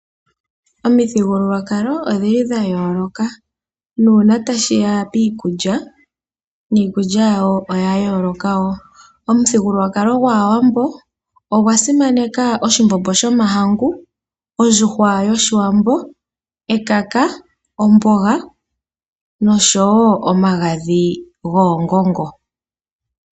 Omithigululwakalo odhili dhayoloka nuuna tashiya piikulya niikulya yawo oya yooloka woo. Omuthigululwakalo gwaawambo ogwasimaneka oshimbombo shomahangu, ondjuhwa yoshiwambo, ekaka, ombonga nosho woo omagadhi goongongo.